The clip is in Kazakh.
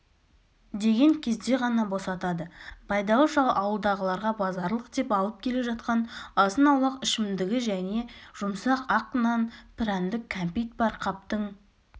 деген кезде ғана босатады байдалы шал ауылдағыларға базарлық деп алып келе жатқан азын-аулақ ішімдігі және жұмсақ ақ нан прәндік кәмпит бар қаптың